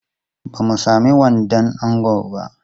Ba mu sami wandon ango ba.